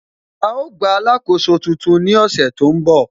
Á gba alákóso tuntun ní ọ̀sẹ̀ tó ń bọ̀